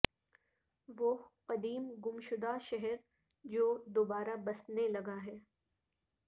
وہ قدیم گمشدہ شہر جو دوبارہ بسنے لگا ہے